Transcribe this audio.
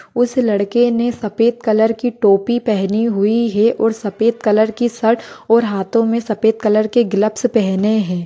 उस लड़के ने सफ़ेद कलर की टोपी पहनी हुई है और सफ़ेद कलर की शर्ट और हातों मे सफ़ेद कलर के ग्लप्स पहने है।